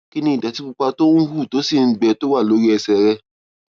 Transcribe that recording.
kí ni ìdòtí pupa tó ń hù tó sì ń gbẹ tó wà lórí ẹsè rẹ